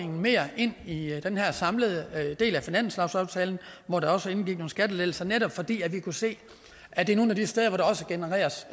mere ind i den her samlede del af finanslovsaftalen hvor der også indgik nogle skattelettelser netop fordi vi kunne se at det er nogle af de steder hvor der også genereres